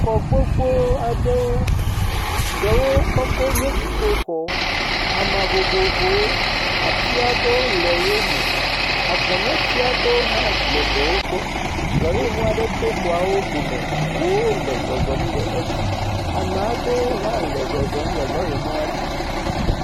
Xɔ gbogbo aɖewo. Ɖewo kɔkɔ nye dziƒoxɔ. Ama vovovowo. Ati aɖewo le wo me. Agɔnɛ ti aɖewo hã le ɖewo gbɔ. Lɔrimɔ aɖe to xɔawo dome. Ŋuwo le zɔzɔm le edzi. Ama ɖewo hã le zɔzɔm le lɔrimɔa dzi.